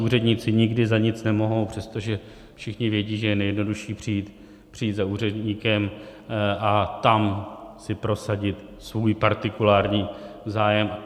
Úředníci nikdy za nic nemohou, přestože všichni vědí, že je nejjednodušší přijít za úředníkem a tam si prosadit svůj partikulární zájem.